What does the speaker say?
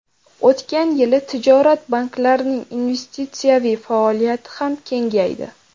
O‘tgan yili tijorat banklarining investitsiyaviy faoliyati ham kengaydi.